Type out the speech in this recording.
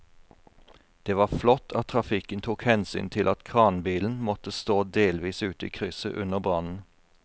Det var flott at trafikken tok hensyn til at kranbilen måtte stå delvis ute i krysset under brannen.